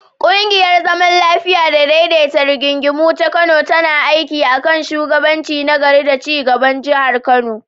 Ƙungiyar zaman lafiya da daidaita rigingimu ta Kano tana aiki a kan shugabanci na gari da ci gaban Jihar Kano.